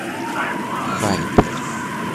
хайпер